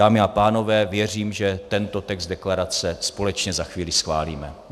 Dámy a pánové, věřím, že tento text deklarace společně za chvíli schválíme.